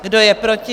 Kdo je proti?